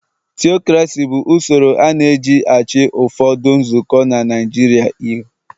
Tiokrasi bụ usoro a na eji -achị n'ụfọdụ nzukọ na Naịjirịa. il